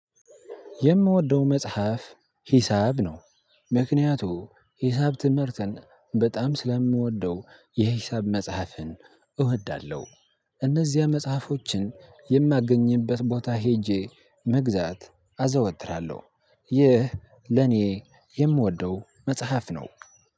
የምወደው መጽሐፍ ሂሳብ ነው ምክንያቱም ሂሳብ ትምህርትን በጣም ስለምወደው የሂሳብ መጽሐፍን እወዳለሁ። እነዚያ መጽሐፎችን የማገኝበት ቦታ ሄጄ መግዛት አዘወትራለሁ ይህ ለኔ የምወደው መጽሐፍ ነው